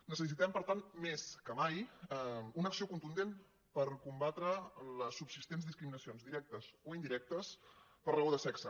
necessitem per tant més que mai una acció contundent per combatre les subsistents discriminacions directes o indirectes per raó de sexe